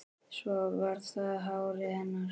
Svo var það hárið hennar.